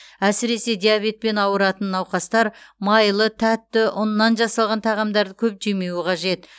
әсіресе диабетпен ауыратын науқастар майлы тәтті ұннан жасалған тағамдарды көп жемеуі қажет